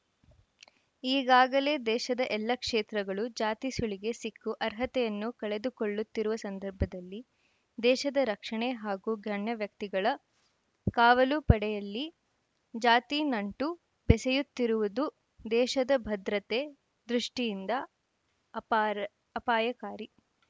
ಈಗಾಗಲೇ ದೇಶದ ಎಲ್ಲ ಕ್ಷೇತ್ರಗಳು ಜಾತಿ ಸುಳಿಗೆ ಸಿಕ್ಕು ಅರ್ಹತೆಯನ್ನು ಕಳೆದುಕೊಳ್ಳುತ್ತಿರುವ ಸಂದರ್ಭದಲ್ಲಿ ದೇಶದ ರಕ್ಷಣೆ ಹಾಗೂ ಗಣ್ಯವ್ಯಕ್ತಿಗಳ ಕಾವಲು ಪಡೆಯಲ್ಲಿ ಜಾತಿ ನಂಟು ಬೆಸೆಯುತ್ತಿರುವುದು ದೇಶದ ಭದ್ರತೆ ದೃಷ್ಟಿಯಿಂದ ಅಪಾರ ಅಪಾಯಕಾರಿ